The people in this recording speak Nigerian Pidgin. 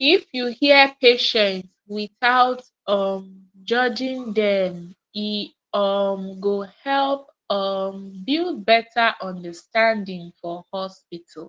if you hear patient without um judging dem e um go help um build better understanding for hospital